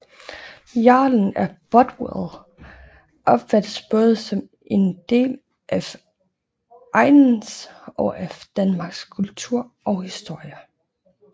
Jarlen af Bothwell opfattes både som en del af egnens og af Danmarks kultur og historie